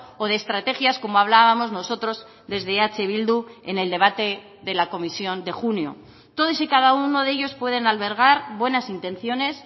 o de estrategias como hablábamos nosotros desde eh bildu en el debate de la comisión de junio todos y cada uno de ellos pueden albergar buenas intenciones